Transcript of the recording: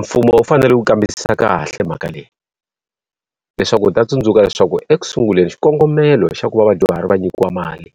Mfumo wu fanele ku kambisisa kahle mhaka leyi. Leswaku wu ta tsundzuka leswaku ekusunguleni xikongomelo xa ku va vadyuhari va nyikiwa mali